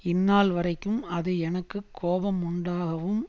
இந்நாள்வரைக்கும் அது எனக்கு கோபமுண்டாகவும்